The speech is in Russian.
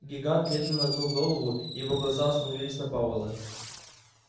гигант медленно нагнул голову и его глаза остановилась на пауэлле